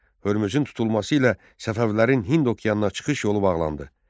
Hörmüzün tutulması ilə Səfəvilərin Hind okeanına çıxış yolu bağlandı.